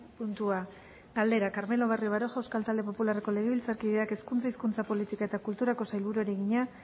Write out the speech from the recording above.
puntua galdera carmelo barrio baroja euskal talde popularreko legebiltzarkideak hezkuntza hizkuntza politika eta kulturako sailburuari egina